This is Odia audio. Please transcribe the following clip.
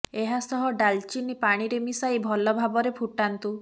ଏହା ସହ ଡାଲଚୀଙ୍କ ପାଣିରେ ମିଶାଇ ଭଲ ଭାବରେ ଫୁଟାନ୍ତୁ